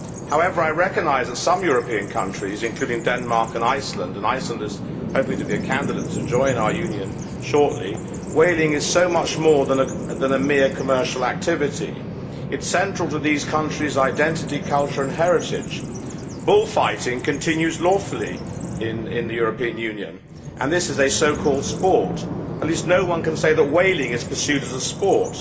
However, I recognise that for some European countries including Denmark and Iceland and Iceland is hoping to be a candidate to join our Union shortly whaling is so much more than a mere commercial activity. It is central to these countries' identity, culture and heritage. Bull fighting continues lawfully in the European Union, and this is a so called sport. At least no one can say that whaling is pursued as a sport.